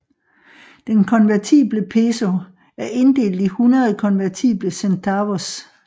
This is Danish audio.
Den konvertible peso er inddelt i 100 konvertible centavos